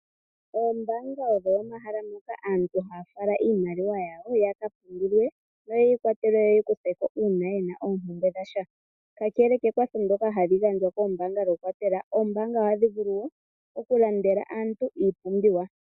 Oombaanga odho omahala ngoka aantu haa fala iimaliwa yawo, yaka pungulilwe noyeyi kwatelewe ye yi kuthe ko uuna ye na oompumbwe dha sha. Kakele kekwatho ndyoka hali gandjwa koombaanga, oombaanga ohadhi vulu wo okulandela aantu iipumbiwa.